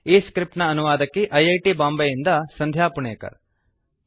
ಈ ಸ್ಕ್ರಿಪ್ಟ್ ನ ಅನುವಾದಕಿ ಐ ಐ ಟಿ ಬಾಂಬೆಯಿಂದ ಸಂಧ್ಯಾ ಪುಣೇಕರ್